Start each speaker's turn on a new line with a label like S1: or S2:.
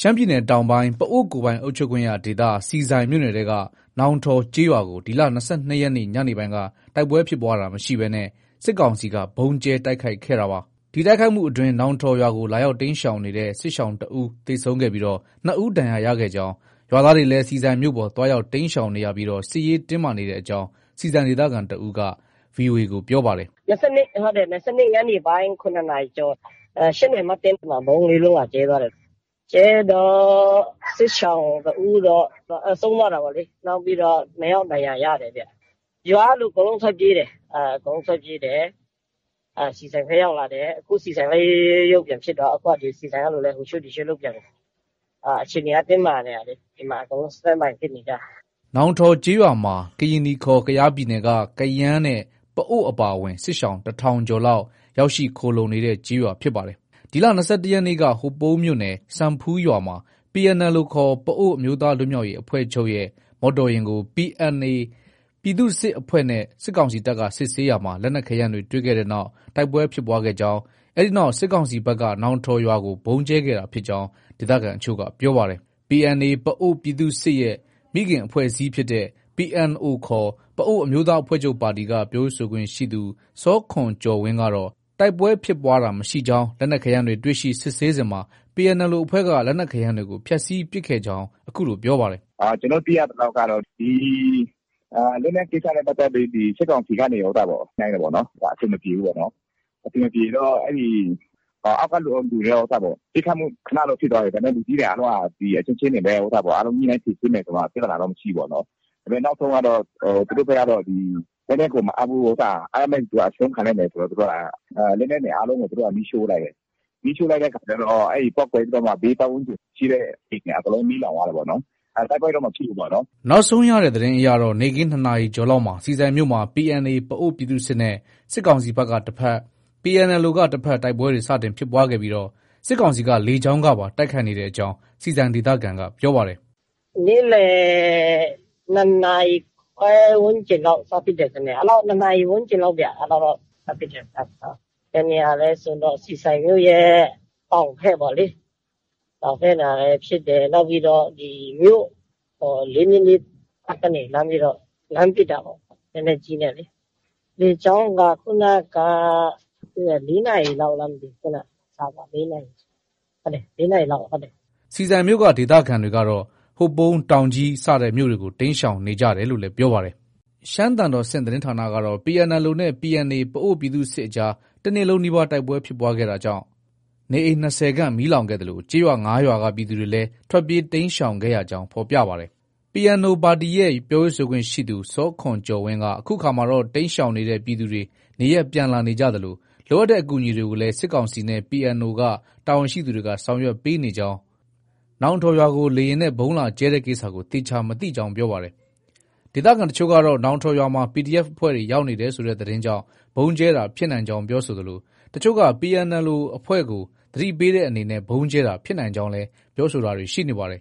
S1: ရှမ်းပြည်နယ်တောင်ပိုင်း ပအိုဝ်းကိုယ်ပိုင်အုပ်ချုပ်ခွင့်ရဒေသ ဆီဆိုင်မြို့နယ်ထဲက နော်ထောဝ်ကျေးရွာကို ဒီလ ၂၂ရက်နေ့ ညနေပိုင်းက တိုက်ပွဲဖြစ်ပွားတာမရှိဘဲ စစ်ကောင်စီက ဗုံးကြဲတိုက်ခိုက်ခဲ့ပါ။ ဒီတိုက်ခိုက်မှုအတွင်း နောင်ထောဝ်ရွာကို လာရောက်တိမ်းရှောင်နေတဲ့ စစ်ရှောင်တဦးသေဆုံးပြီး ၂ဦးဒဏ်ရခဲ့ကြောင်း၊ ရွာသားတွေလည်း ဆီဆိုင်မြို့ပေါ် သွားရောက် တိမ်းရှောင်ပြီး စစ်ရေးတင်းမာနေကြောင်း ဆီဆိုင်ဒေသခံတဦးက VOA ကို ပြောပါတယ်
S2: ။ “၂၂ ညနေပိုင်း ၇နာရီကျော် ၈နာရီမတ်တင်းလား ။ အဲဒီမှာ ဗုံး ၄လုံးလာကြဲသွားတယ်။ ကြဲတော့ စစ်ရှောင်တဦးတော့ ဆုံးသွားတာပေါ့လေ။ နောက်ပြီးတော့ ၂ဦးဒဏ်ရာရတယ်ဗျ။ ရွာကလူအကုန်လုံး ထွက်ပြေးတယ်။ ဆီဆိုင်ထဲ ရောက်လာတယ်။ အခု ဆီဆိုင်လည်း ရုတ်ရုတ် ရုတ်ရုတ် ပြန်ဖြစ်သွားတာ။ အခု ဆီဆိုင်က လူလည်း ဟိုရွှေ့ ဒီရွှေ့လုပ်ပြန်ပြီ။ အခြေအနေက တင်းမာနေတာ။ ဒီမှာ အကုန်လုံး Stand by ဖြစ်နေကြတာ။
S1: ” နောင်ထောဝ်ကျေးရွာမှာ ကရင်နီခေါ် ကယားပြည်နယ်က ကယန်းနဲ့ ပအိုဝ်းအပါအဝင် စစ်ရှောင် တထောင်ကျော် လောက် ရောက်ရှိ ခိုလှုံနေတဲ့ ကျေးရွာဖြစ်ပါတယ်။ ဒီလ ၂၁ရက်နေ့က ဟိုပုန်းမြို့နယ် စံဖူးရွာမှာ PNLO ခေါ် ပအိုဝ်းအမျိုးသားလွတ်မြောက်ရေး အဖွဲ့ချုပ့်ရဲ့ မော်တော်ယာဉ်တွေကို PNA ပြည်သူ့စစ်အဖွဲ့ နဲ့ စစ်ကောင်စီတပ်က စစ်ဆေးရာမှာ လက်နက်ခဲယမ်းတွေ တွေ့ခဲ့တဲ့နောက် တိုက်ပွဲဖြစ်ပွားခဲ့ကြောင်း၊ အဲဒီနောက် စစ်ကောင်စီဘက်က နောင်ထော်ရွာကို ဗုံးကြဲခဲ့တာဖြစ်ကြောင်း ဒေသခံအချို့က ပြောပါတယ်။ PNA ပအိုဝ်းပြည်သူ့စစ်ရဲ့ ရဲ့ မိခင်အဖွဲ့အစည်းဖြစ်တဲ့ PNO ခေါ် ပအိုဝ်းအမျိုးသားအဖွဲ့ချုပ် ပါတီက ပြောရေးဆိုခွင့်ရှိသူ စောခွန်ကျော်ဝင်းကတော့ တိုက်ပွဲဖြစ်ပွားတာမရှိကြောင်း၊ လက်နက်ခဲယမ်းတွေ တွေ့ရှိ စစ်ဆေးစဉ်မှာ PNLO အဖွဲ့က လက်နက်ခဲယမ်းတွေကို ဖျက်ဆီးပစ်ခဲ့ကြောင်း အခုလို ပြောပါတယ်။ “ကျနော်တို့ သိရသလောက်တော့ ဒီလက်နက်ကိစ္စနဲ့ ပတ်သက်ပြီး စစ်ကောင်စီကနေ ညှိနှိုင်းတယ်ပေါ့နော်။ အဆင်မပြေဘူးပေါ့နော်။ အ
S2: ဆင်မပြေတော့ အဲဒီ အောက်က လူတွေက ပစ်ခတ်မှု ခနတော့ ဖြစ်သွားတယ်။ ဒါပေမဲ့ လူကြီးတွေက အချင်းချင်းတွေပဲ အားလုံးညှိနှိုင်းဖြေရှင်းမယ်ဆိုပြီးမှ ပြဿနာတော့ မရှိဘူးပေါ့နော်။ ဒါပေမဲ့ နောက်ဆုံးကတော့ သူတို့ဘက်က ဒီ လက်နက်ကိုတော့ မအပ်ဘူး။ အပ်ရမယ့်အတူတူ အရှုံးခံလိုက်မယ်ဆိုပြီးမှ လက်နက်တွေအားလုံးကို မီးရှို့လိုက်တယ်။ မီးရှို့လိုက်တော့ ပေါက်ကွဲပြီးတော့မှ ဘေးပတ်ဝန်းကျင်ရှိတဲ့ အိမ်တွေအကုန်လုံး မီးလောင်သွားတာပေါ့နော်။ တိုက်ပွဲတော့ မဖြစ်ဘူးပေါ့နော်။
S1: ” နောက်ဆုံးရတဲ့သတင်းအရတော့ နေ့ခင်း ၂နာရီကျော်လောက်မှာ ဆီဆိုင်မြို့မှာ PNA ပအိုဝ်းပြည်သူစစ်နဲ့ စစ်ကောင်စီက တဘက်၊ PNLO က တဘက် တိုက်ပွဲတွေ စတင်ဖြစ်ခဲ့ပြီး စစ်ကောင်စီက လေကြောင်းကပါ တိုက်ခိုက်နေကြောင်း ဆီဆိုင်ဒေသခံက ပြောပါတယ်
S2: ။ “ နေ့လယ် ၂ နာရီခွဲ ဝန်းကျင်လောက် စဖြစ်တယ်ထင်တယ်။ ၂နာရီ ဝန်းကျင်လောက်ဗျ အဲဒီအချိန် စဖြစ်တယ်။ ဘယ်နေရာလဲဆိုရင်တော့ ဆီဆိုင်မြို့ရဲ့ တောင်ဘက် ပေါ့လေ။ တောင်ဘက်မှာလည်း ဖြစ်တယ်။ နောက်ပြီးတော့ ၄၂၂ တပ်ကနေ လှမ်းပြီးတော့ ပစ်တာပေါ့။ လက်နက်ကြီးနဲ့လေ။ လေကြောင်းက ခုနက ၄နာရီလောက်လားမသိဘူး။ ခုနက ချသွားတယ်။ ၄နာရီလောက်။ ဟုတ်တယ် ၄နာရီလောက် ချသွားတာ။
S1: ” ဆီဆိုင်မြို့က ဒေသခံတွေကတော့ ဟိုပုန်း၊ တောင်ကြီး စတဲ့မြို့တွေကို တိမ်းရှောင်ကြတယ်လို့လည်း ပြောပါတယ်။ ရှမ်းသံတော်ဆင့်သတင်းဌာနက PNLO နဲ့ PNA ပအိုဝ်းပြည်သူ့စစ်အကြား တနေ့လုံးနီးပါး တိုက်ပွဲဖြစ်ပွားခဲ့တာကြောင့် နေအိမ် ၂၀ခန့် မီးလောင်ခဲ့သလို ကျေးရွာ ၅ရွာက ပြည်သူတွေလည်း ထွက်ပြေးတိမ်းရှောင်ခဲ့ကြောင်း ဖော်ပြပါတယ်။ PNO ပါတီရဲ့ ပြောရေးဆိုခွင့်ရှိသူ စောခွန်ကျော်ဝင်းက အခုအခါမှာတော့ တိမ်းရှောင်နေတဲ့ ပြည်သူတွေ နေရပ်ပြန်လာနေသလို လိုအပ်တဲ့အကူအညီတွေကိုလည်း စစ်ကောင်စီနဲ့ PNO က တာဝန်ရှိသူတွေက ဆောင်ရွက်ပေးနေကြောင်း နဲ့ နောင်ထောဝ်ရွာကို လေယာဉ်နဲ့ ဗုံးလာကြဲတဲ့ကိစ္စကို သေချာမသိကြောင်း ပြောပါတယ်။ ဒေသခံအချို့ကတော့ နောင်ထောဝ်ရွာမှာ PDF အဖွဲ့တွေ ရောက်နေတယ်ဆိုတဲ့ သတင်းကြောင့် ဗုံးကြဲတာ ဖြစ်နိုင်ကြောင်း ပြောဆိုသလို အချို့ကPNLO အဖွဲ့ကို သတိပေးတဲ့အနေနဲ့ ဗုံးကြဲတာလည်း ဖြစ်နိုင်ကြောင်း ပြောဆိုတာ တွေ ရှိနေပါတယ်